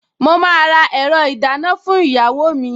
Mo máa ra ẹ̀rọ ìdáná fún ìyàwó mi